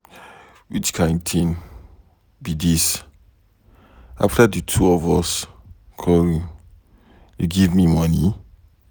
Which kin thing be dis. After the two of us quarrel you give me money.